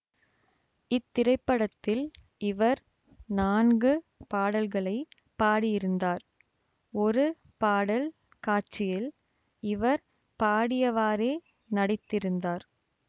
இத்திரைப்படத்தில் இவர் நான்கு பாடல்களை பாடியிருந்தார் ஒரு பாடல் காட்சியில் இவர் பாடியவாறே நடித்திருந்தார்